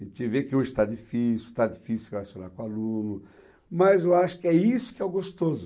A gente vê que hoje está difícil, está difícil se relacionar com aluno, mas eu acho que é isso que é o gostoso.